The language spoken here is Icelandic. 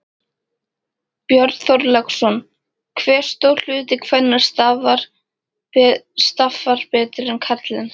Björn Þorláksson: Hve stór hluti kvenna skaffar betur en karlinn?